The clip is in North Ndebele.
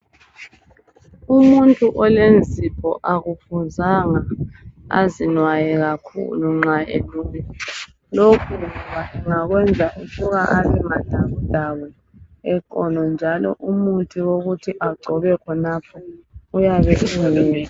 Umuntu olenzipho akufuzanga azinwaye kakhulu nxa elunywa, lokhu kuyenza ukuba abe madabudabu eqolo njalo umuthi wokuthi agcobe khonapho uyabe ungekho.